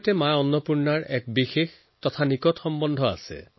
মাতা অন্নপূৰ্ণাৰ কাশীৰ সৈতে এক নিবিড় সম্বন্ধ আছে